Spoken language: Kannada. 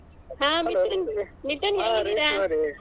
ಹ ಮಿಥುನ್ ಮಿಥುನ್ ಹೇಗಿದ್ದೀರಾ?